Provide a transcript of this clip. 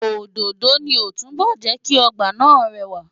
Òdòdó ni ó túbọ̀ jẹ́ kí ọgbà náà rẹwà.